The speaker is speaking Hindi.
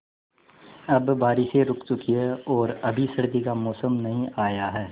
अब बारिशें रुक चुकी हैं और अभी सर्दी का मौसम नहीं आया है